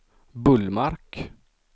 Bullmark